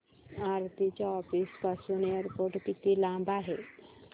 आरती च्या ऑफिस पासून एअरपोर्ट किती लांब आहे